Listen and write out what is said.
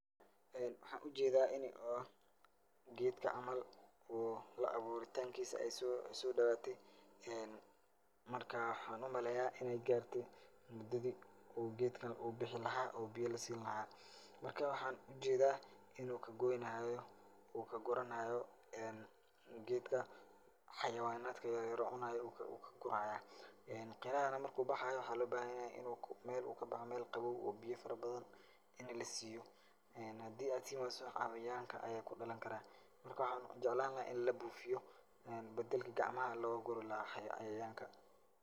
Ee waxaan ujedaa inay oo geedka camal wuu la abuuritaankiisa ay soo dhowaatay. Marka, waxaan umaleeyaa in ay gaartay mudadii uu geedkan uu bixi lahaa uu biyo lasiin lahaa. Marka, waxaan ujeedaa in uu ka goynahaayo uu ka guranahaayo geedka xayawaanaadka yeryer oo cunaayo uu uu ka guraaya. Qarahaana marka uu baxaayo waxaa loo baahan yahay in uu meel uu kabaxo meel qabow uu biyo farabadan in la siiyo. Hadii aad siin wayso xayawaanka ayaa ku dhalankaraa. Marka, waxaan jeclaan lahaa in la buufiyo bedelki gacamaha loogu guri lahaa cayayaanka.